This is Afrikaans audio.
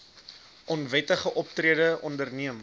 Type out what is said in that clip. onwettige optrede onderneem